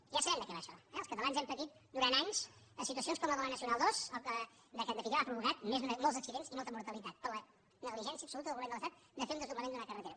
ja sabem de què va això eh els catalans hem patit durant anys situacions com la de la nacional ii que en definitiva ha provocat molts accidents i molta mortalitat per la negligència absoluta del govern de l’estat de fer un desdoblament d’una carretera